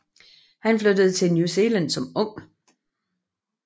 Han flyttede til New Zealand som ung